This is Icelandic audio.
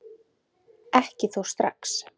Ekki þó strax.